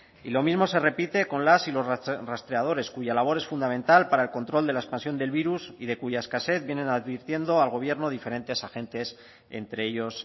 y lo mismo se repite con las y los rastreadores cuya labor es fundamental para el control de la expansión del virus y de cuya escasez vienen advirtiendo al gobierno diferentes agentes entre ellos